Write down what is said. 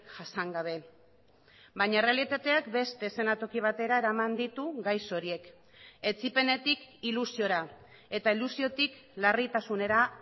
jasan gabe baina errealitateak beste eszenatoki batera eraman ditu gaixo horiek etsipenetik ilusiora eta ilusiotik larritasunera